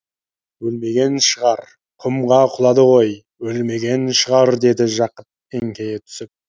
өлмеген шығар құмға құлады ғой өлмеген шығар деді жақып еңкейе түсіп